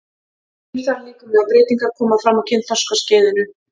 Ýmsar líkamlegar breytingar koma fram á kynþroskaskeiðinu.